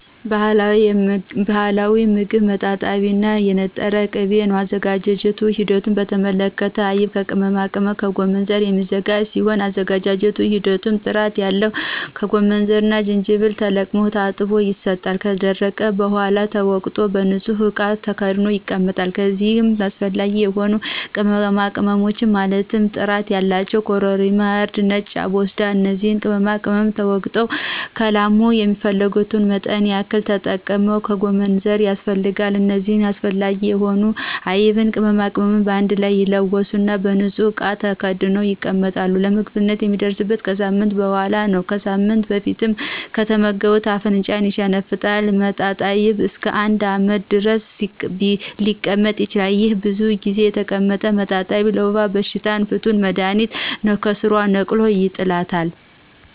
ባህላዊ ሞግብ መጣጣይብ እና የነጠረ ቅቤ ነው የአዘገጃጀቱ ሂደት በተመለከተ ከአይብ ከቅመማቅመምና ከጎመንዘር የሚዘጋጅ ሲሆን የአዘገጃጀት ሂደቱም ጥራት ያለው ጎመንዘርና ጅጅብል ተለቅሞ ታጥቦ ይሰጣል ከደረቀ በሗላ ተወቅጦ በንጹህ እቃ ተከድኖ ይቀመጣል ከዚይም አሰፈላጊ የሆኑ ቅመማቅመሞች ማለትም ጥራት ያላቸው ኮረሪማ :እርድና ነጭ አቦስዳ እነዚህ ቅመማቅመም ተወግጠው ከላሙ የሚፈልጉትን መጠን ያክል መጠቀም ጎመንዘር ያስፈልጋል እነዚህ አስፈላጊ የሆኑትን አይብና ቅመማቅመም በአንድ ላይ ይለወሱና በንጹህ እቃ ተከድኖ ይቀመጣል ለምግብነት የሚደርሰው ከሳምንት በሗላ ነው ከሳምንት በፊት ከተመገቡት አፍንጫን ይሸነፍጣል መጣጣይብ እስከ አንድ አመት ድረስ ሊቀመጥ ይችላል። ይሄ ብዙ ጊዜ የተቀመጠው መጣጣይብ ለወባ በሽታ ፍቱን መድሀኒት ነው ከስሯ ነቅሎ ይጥላታል።